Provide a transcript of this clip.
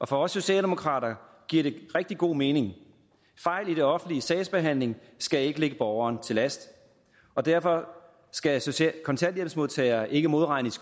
for os socialdemokrater rigtig god mening fejl i det offentliges sagsbehandling skal ikke lægges borgeren til last og derfor skal kontanthjælpsmodtagere ikke modregnes